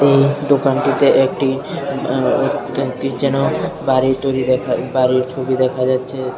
এই দোকানটিতে একটি আ ঠিক যেন বাড়ির তৈরি দেখা বাড়ির ছবি দেখা যাচ্ছে।